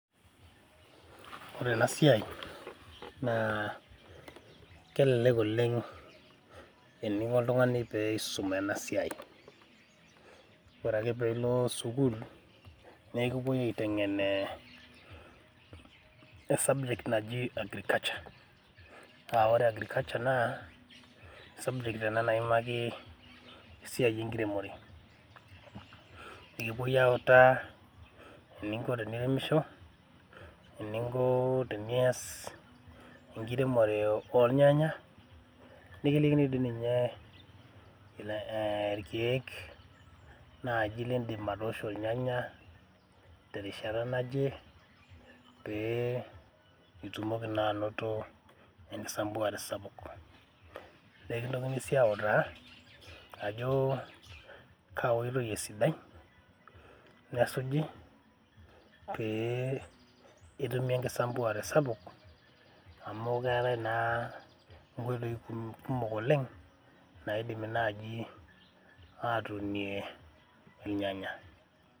Ore enasiai nakelelek oleng eniko oltungani peisum enasiai, ore akepilo sukul ma ekipoi aitengen subject najib agriculture ore agriculture na subject ina naimaki esiai enkiremore ekipoi autaa eninko teniremisho, eninko tenias enkiremore ornyanya nikilikini di ninye irkiek lindim atoosho irnyanya terishata naje peeb itumoki naa ainoto enkikesare sapuk na ekintokini si autaa ajo kaa oitoi esidai nesuji pe itumi enkikesare sapuk amu keetau nai nkoitoi kumok naidimi nai atuunie irnyanya.